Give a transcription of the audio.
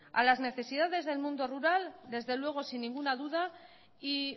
a las necesidades del mundo rural desde luego sin ninguna duda y